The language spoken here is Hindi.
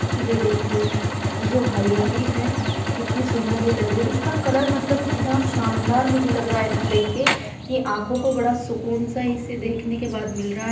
ये देखिए ये जो हरियाली है कितनी सुन्दर ये लग रही है। इसका कलर मतलब इतना शानदार मुझे लग रहा ना देख के कि आँखों को बड़ा सुकून सा इसे देखने के बाद मिल रहा है।